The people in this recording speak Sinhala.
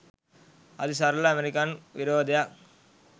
අති සරල ඇමරිකන් විරෝධයක්